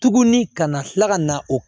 Tuguni kana tila ka na o